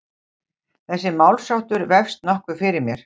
Þessi málsháttur vefst nokkuð fyrir mér.